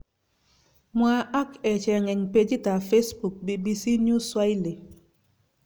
Mwa ak echeng en pegit ap Facebook, bbcnewsswahili.